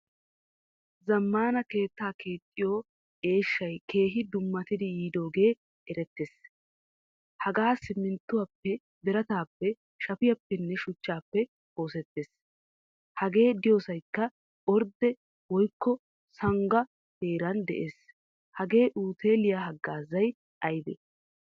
Zmaana keetta keexxiyo eeshshay keehin dummatidi yidooge eretees. Hagee siminttuwappe, biratappe, shaffiyappenne shuchchappe oosetees. Hagee deiyosaykka ordde woykkosangga heeraan de"ees. Hagaa uteliya hagaazzay aybe?